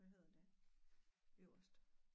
Hvad hedder det øverst?